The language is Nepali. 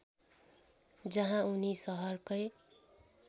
जहाँ उनी सहरकै